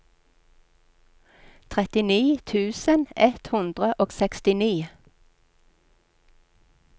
trettini tusen ett hundre og sekstini